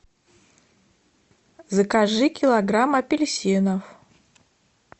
закажи килограмм апельсинов